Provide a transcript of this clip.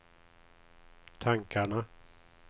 tankarna